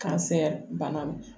bana